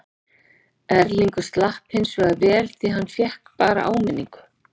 Erlingur slapp hinsvegar vel því hann fékk bara áminningu.